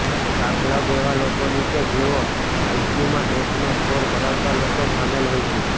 આ ક્લબ એવા લોકોની છે જેઓ આઈક્યૂમાં ટોચનો સ્કોર ધરાવતા લોકો સામેલ હોય છે